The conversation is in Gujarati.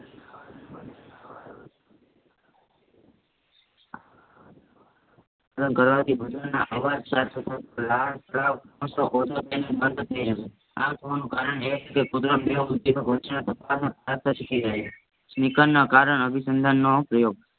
ઘરવાડા બધાના અવાજ સાથે આ કોનું કરને સિખી ગઈ સિકાર ના કારણ અભિસંતાન નો પ્રયોગ